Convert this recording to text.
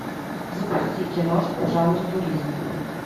запусти киношку в жанре туризм